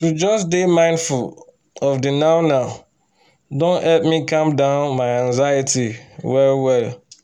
to just dey mindful of the now-now don help me cam down my anxiety well well